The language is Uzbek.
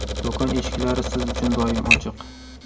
Do‘kon eshiklari siz uchun doim ochiq!